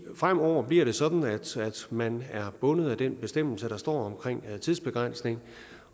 fremover bliver sådan at man er bundet af den bestemmelse der står om tidsbegrænsning